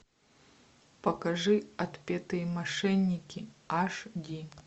покажи отпетые мошенники аш ди